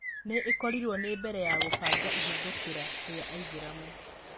no ĩkorirwo nĩ mbere ya kũbanga ihĩthũkira rĩa aithĩramu